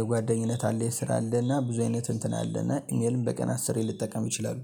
የጓደኝነት አለ የስራ አለ እና ብዙ አይነት እንትን አለና ኢሜልም በቀን አስር ልጠቀም ይችላሉ